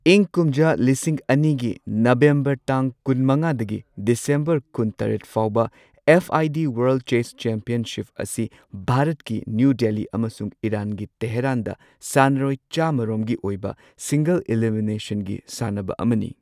ꯏꯪ ꯀꯨꯝꯖꯥ ꯂꯤꯁꯤꯡ ꯑꯅꯤꯒꯤ ꯅꯕꯦꯝꯕꯔ ꯇꯥꯡ ꯀꯨꯟꯃꯉꯥꯗꯒꯤ ꯗꯤꯁꯦꯝꯕꯔ ꯀꯨꯟꯇꯔꯦꯠ ꯐꯥꯎꯕ F I D world chess championship ꯑꯁꯤ ꯚꯥꯔꯠꯀꯤ ꯅ꯭ꯌꯨ ꯗꯦꯜꯂꯤ ꯑꯃꯁꯨꯡ ꯏꯔꯥꯟꯒꯤ ꯇꯦꯍꯔꯥꯟꯗ ꯁꯥꯟꯅꯔꯣꯏ ꯆꯥꯝꯃ ꯔꯣꯝꯒꯤ ꯑꯣꯏꯕ ꯁꯤꯡꯒꯜ ꯏꯂꯤꯃꯤꯅꯦꯁꯟꯒꯤ ꯁꯤꯡꯅ ꯁꯥꯟꯅꯕ ꯑꯃꯅꯤ꯫